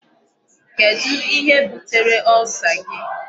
Kedụ ihe butere Ulcer gị?